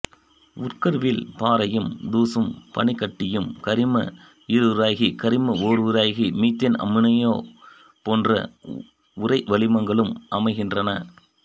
உட்கருவில் பாறையும் தூசும் பனிக்கட்டியும் கரிம ஈருயிரகி கரிம ஓருயிரகி மீத்தேன் அம்மோனியா போன்ற உறைவளிமங்களும் அமைகின்றன